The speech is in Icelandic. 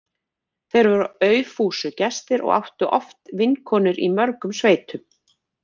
Þeir voru aufúsugestir og áttu oft vinkonur í mörgum sveitum.